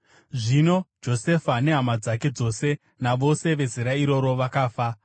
Zvino Josefa nehama dzake dzose navose vezera iroro vakafa,